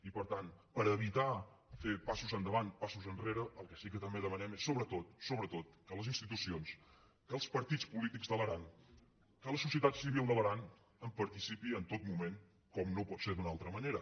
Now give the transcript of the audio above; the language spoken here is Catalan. i per tant per evitar fer passos endavant passos enrere el que sí que també demanem és sobretot sobretot que les institucions que els partits polítics de l’aran que la societat civil de l’aran hi participin en tot moment com no pot ser d’una altra manera